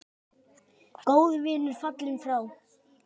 Góður vinur fallinn frá.